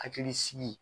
Hakili sigi